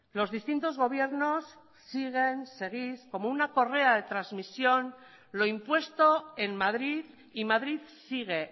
los distintos gobiernos siguen seguís como una correa de transmisión lo impuesto en madrid y madrid sigue